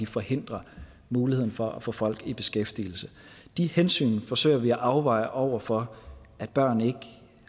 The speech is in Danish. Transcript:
forhindrer muligheden for at få folk i beskæftigelse de hensyn forsøger vi at afveje over for at børn ikke